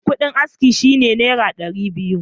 Kuɗin askin shi ne Naira dari biyu.